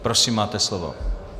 Prosím, máte slovo.